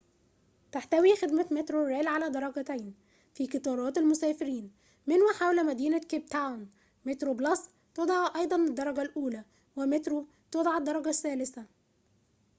تحتوي خدمة مترو ريل على درجتين في قطارات المسافرين من وحول مدينة كيب تاون: مترو بلس تُدعى أيضًا الدرجة الأولي ومترو تُدعى الدرجة الثالثة